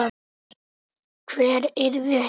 Hver yrðu áhrif þess?